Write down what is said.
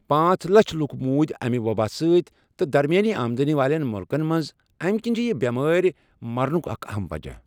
پانٛژ لچھ لوٗکھ موٗدۍ امہ وبا سٟتۍ تہٕ درمیٲنی آمدنی والؠن مُلکن منٛز امہِ کِنۍ چھِ یہِ بؠمٲرۍ مرنُک اَکھ اہم وجہ